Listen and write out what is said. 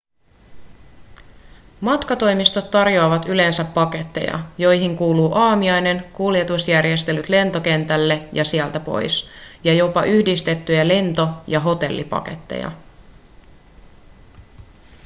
matkatoimistot tarjoavat yleensä paketteja joihin kuuluu aamiainen kuljetusjärjestelyt lentokentälle ja sieltä pois ja jopa yhdistettyjä lento- ja hotellipaketteja